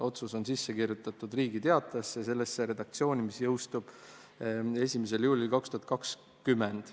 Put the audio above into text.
Otsus on sisse kirjutatud Riigi Teatajasse, sellesse redaktsiooni, mis jõustub 1. juulil 2020.